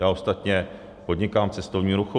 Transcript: Já ostatně podnikám v cestovním ruchu.